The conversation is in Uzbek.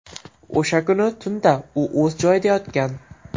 O‘sha kuni tunda u o‘z joyida yotgan.